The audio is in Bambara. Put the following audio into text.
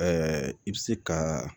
i bɛ se ka